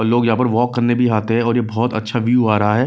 लोग यहाँ पर वॉक करने भी आते हैं और ये बहुत अच्छा व्यू आ रहा है।